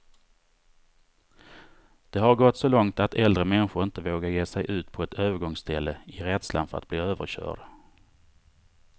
Det har gått så långt att äldre människor inte vågar ge sig ut på ett övergångsställe, i rädslan för att bli överkörd.